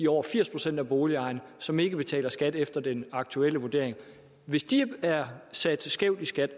over firs procent af boligejerne som ikke betaler skat efter den aktuelle vurdering hvis de er sat skævt i skat